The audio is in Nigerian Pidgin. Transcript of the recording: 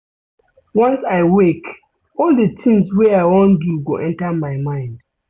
Once I wake, all di tins wey I wan do go enta my mind.